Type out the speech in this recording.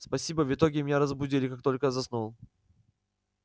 спасибо в итоге меня разбудили как только я заснул